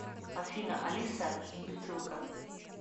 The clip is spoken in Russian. афина алиса имбецилка